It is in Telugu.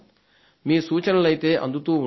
మీ సూచనలైతే అందుతూ ఉండాలి